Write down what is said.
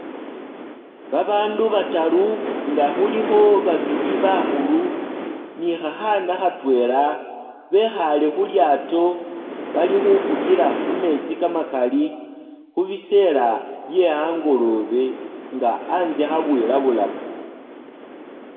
babandu bataru nga huliho babili bahuulu ni hahaana hatwela behale hulyaato, Bali hufugila hu metsi kamakali, hubiseela bye angolobe nga anzye habwilabulaka